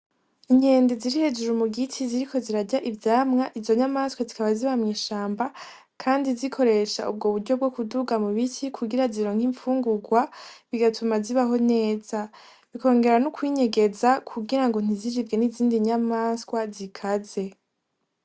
Inkende ziri hejuru mu giti ziriko zirarya ivyamwa izo nyamaswa zikaba ziba mw'ishamba kandi zikoresha ubwo buryo bwo kuduga mu biti kugira zironke infungugwa bigatuma zibaho neza bikongera no kwinyegeze kugira ngo ntiziribwe n' izindi nyamaswa zikaze.